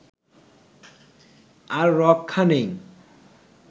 আর রক্ষা নেই